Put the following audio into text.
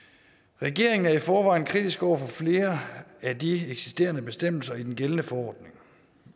regeringen er i forvejen kritisk over for flere af de eksisterende bestemmelser i den gældende forordning